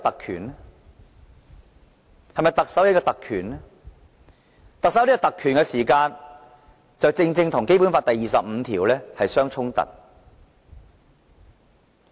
如果特首有這種特權，便正正與《基本法》第二十五條有所抵觸。